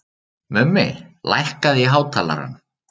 Mummi, lækkaðu í hátalaranum.